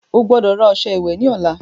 Ogbọ́dọ̀ rà ọṣẹ ìwẹ̀ ní ọ̀la